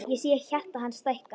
Ég sé hjarta hans stækka.